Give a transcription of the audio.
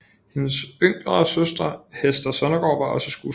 Hendes yngre søster Hester Sondergaard var også skuespiller